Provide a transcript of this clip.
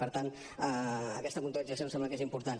per tant aquesta puntualització em sembla que és important